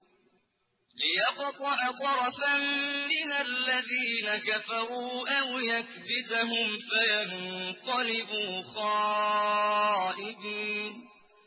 لِيَقْطَعَ طَرَفًا مِّنَ الَّذِينَ كَفَرُوا أَوْ يَكْبِتَهُمْ فَيَنقَلِبُوا خَائِبِينَ